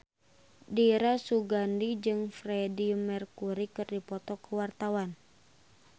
Dira Sugandi jeung Freedie Mercury keur dipoto ku wartawan